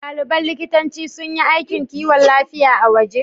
Ɗaliban likitanci sun yi aikin kiwon lafiya a waje?